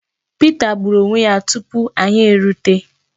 Pita gbùrù onwe ya tupu anyị erute.